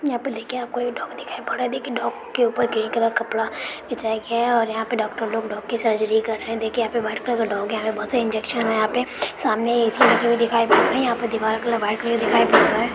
यहाँ पर देखिये एक डॉग दिखाई पर रहा हैं देखिये डॉग के ऊपर ग्रीन कपड़ा बिछाया गया हैं और यहां पर डॉक्टर लोग डॉग की सर्जरी कर रहे हैं देखिये यहां पे वाइट कलर का डॉग हैं यहाँ पर बहुत सारा इंजेक्शन हैं यहाँ पे सामने ऐ.सी. लगे हुए दिखाई दे रहे यहाँ पे दीवारो की कलर वाइट में दिखाई पर रहा हैं।